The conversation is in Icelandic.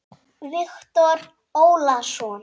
Viktor Ólason.